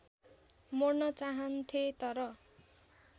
मोड्न चाहन्थे तर